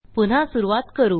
पुन्हा सुरूवात करू